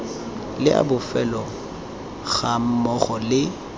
le a bofelo gammogo le